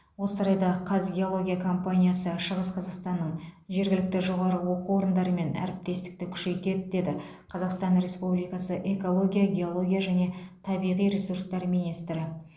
осы орайда қазгеология компаниясы шығыс қазақстанның жергілікті жоғары оқу орындарымен әріптестікті күшейтеді деді қазақстан республикасы экология геология және табиғи ресурстар министрі